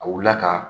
A wulila ka